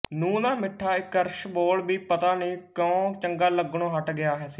ਨੂੰਹ ਦਾ ਮਿੱਠਾ ਇੱਕਰਸ ਬੋਲ ਵੀ ਪਤਾ ਨਹੀਂ ਕਿਉਂ ਚੰਗਾ ਲੱਗਣੋਂ ਹੱਟ ਗਿਆ ਸੀ